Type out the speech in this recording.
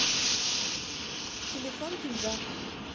телефон кинза